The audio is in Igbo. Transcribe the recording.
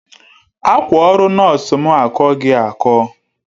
Akwa oru nosu mu akogi ako